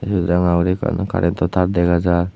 syot ranga guri ekkan curento tar dega jar.